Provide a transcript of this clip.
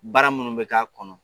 Baara munun be k'a kɔnɔ